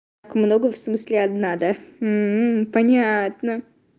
много в смысле одна да понятно